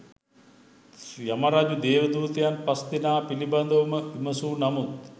යමරජු දේවදූතයන් පස් දෙනා පිළිබඳව ම විමසූ නමුත්